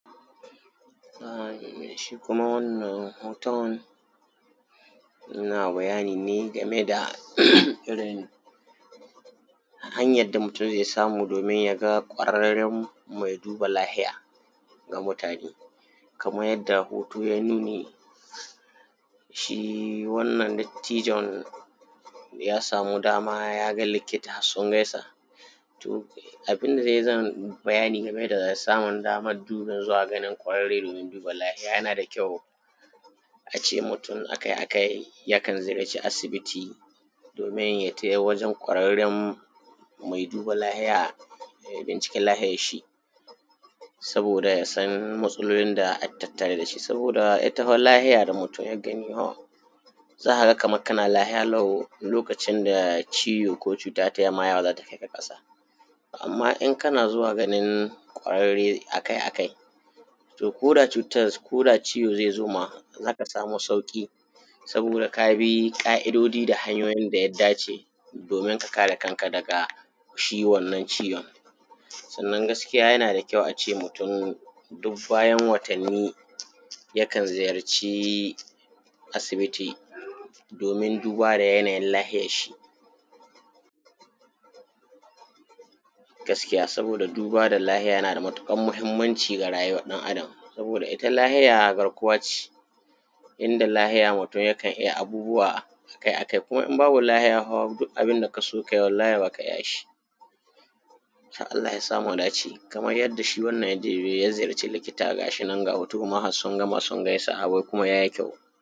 Shi kuma wannan hoton yana bayani ne game da irin hanyan da mutun zai samu domin ya ga kwararren mai duba lahiya ga mutane kaman yadda hoto yai nuni, shi wannan dattijon ya samu dama ya ga likita sun gaisa to abin da zan bayani game da daman samun dubi zuwa ga kwararre domin duba lahiya yana da kyau a ce mutun akai-akai ya kan ziyarci asibiti domin ya tai wajen kwararren mai duba lahiya, da ya binciki lahiyan shi saboda ya san matsalolin da at tattare da shi. Saboda za ka ga kaman kana lahiya lokacin da cuta ko ciwo ta fara za ta kai ka kasa, amma in kana zuwa ganin kwararre akai-akai to koda ciwo zai zo ma, zai zo da sauƙi saboda ka bi ƙa’idodi da hanyoyin da suka dace. Domin ka kare kanka daga shi wannan ciwon, sannan gaskiya yana da kyau a ce mutun duk bayan watanni yakan ziyarci asibiti domin duba da yanayi lahiyar shi saboda yana da matuƙar mahimmanci ga rayuwa ɗan’Adam saboda ita lahiya garkuwa ce in da lahiya mutun yakan iya abubuwa kuma in babu lahiya dik abin da ka so ka yi wallahi ba ka iya shi, Allah ya sa mu dace. Kaman yadda shi wannan ya ziyarci likita ga shi nan a hoto ma har sun gama suna gaisawa.